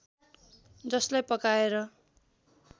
जसलाई पकाएर